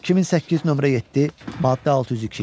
2008, nömrə 7, maddə 602.